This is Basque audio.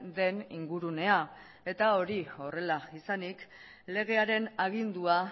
den ingurunea eta hori horrela izanik legearen agindua